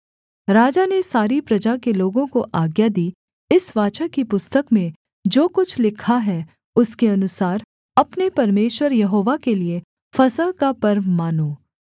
राजा ने सारी प्रजा के लोगों को आज्ञा दी इस वाचा की पुस्तक में जो कुछ लिखा है उसके अनुसार अपने परमेश्वर यहोवा के लिये फसह का पर्व मानो